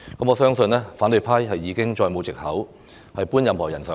我相信反對派已經再沒有藉口搬任何人上檯。